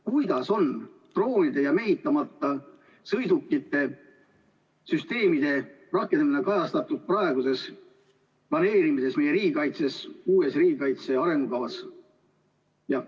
Kuidas on droonide ja mehitamata sõidukite süsteemide rakendamine kajastatud praeguses riigikaitse planeerimises, uues riigikaitse arengukavas?